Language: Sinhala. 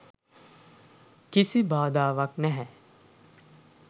කිසි බාධාවක් නැහැ.